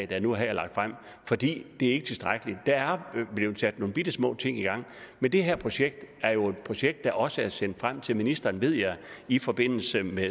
der nu her er lagt frem for det er ikke tilstrækkeligt der er blevet sat nogle bittesmå ting i gang men det her projekt er jo et projekt der også er sendt frem til ministeren ved jeg i forbindelse med